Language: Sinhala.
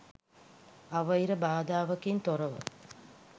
අවහිර බාධාවකින් තොරව